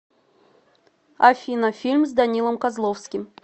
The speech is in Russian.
афина фильм с данилом козловским